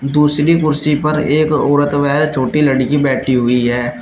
दूसरी कुर्सी पर एक औरत व छोटी लड़की बैठी हुई है।